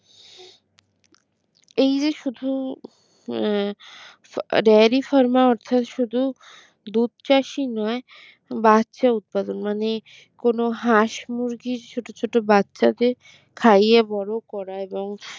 এই যে শুধু আহ dairy pharma অর্থাৎ শুধু দুধচাষী নয় বাচ্চা উৎপাদন মানে কোন হাঁস মুরগির ছোট ছোট বাচ্চাদের খাইয়ে বড় করা